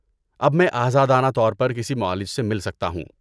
اب میں آزادانہ طور پر کسی معالج سے مل سکتا ہوں۔